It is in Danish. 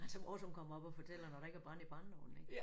Altså vores hun kommer op og fortæller når der ikke er brand i brændeovnen ik